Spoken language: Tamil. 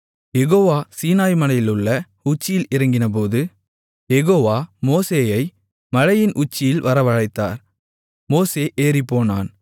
யெகோவா சீனாய்மலையிலுள்ள உச்சியில் இறங்கினபோது யெகோவா மோசேயை மலையின் உச்சியில் வரவழைத்தார் மோசே ஏறிப்போனான்